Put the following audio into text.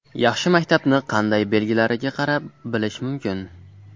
Yaxshi maktabni qanday belgilariga qarab bilish mumkin?.